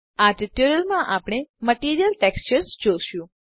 આ ટ્યુટોરીયલમાં આપણે મટીરિયલ texturesજોશું